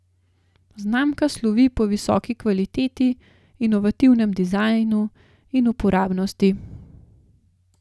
Znamka slovi po visoki kvaliteti, inovativnem dizajnu in uporabnosti.